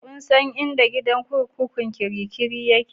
Kun san inda gidan kurkukun kirikiri yake?